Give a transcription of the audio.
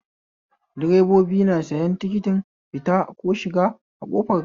Direbobi na sayan tikitin fita ko shiga a kofar gareji